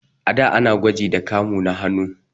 A da ana gwaji da kamu na hannu.